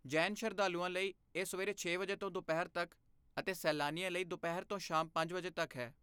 ਜੈਨ ਸ਼ਰਧਾਲੂਆਂ ਲਈ ਇਹ ਸਵੇਰੇ ਛੇ ਵਜੇ ਤੋਂ ਦੁਪਹਿਰ ਤੱਕ ਅਤੇ ਸੈਲਾਨੀਆਂ ਲਈ ਦੁਪਹਿਰ ਤੋਂ ਸ਼ਾਮ ਪੰਜ ਵਜੇ ਤੱਕ ਹੈ